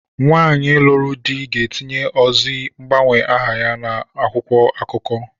Nwaanyi lụrụ di ga-etinye ozi mgbanwe aha ya n'akwụkwọ akụkọ.